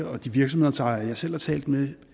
og de virksomhedsejere jeg selv har talt med